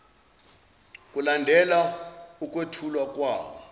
kulandela ukwethulwa kwawo